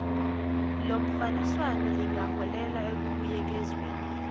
lomfaniswano ingaholela ekubuyekezweni